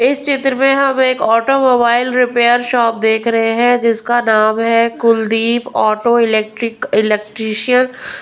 इस क्षेत्र में हम एक ऑटोमोबाइल रिपेयर शॉप देख रहे हैं जिसका नाम है कुलदीप ऑटो इलेक्ट्रिक इलेक्ट्रिशियन --